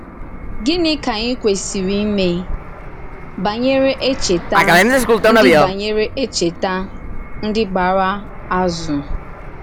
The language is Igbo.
Gịnị ka ànyì kwésìrì ímè bànyèrè èchètà ndí bànyèrè èchètà ndí gbàrà àzù?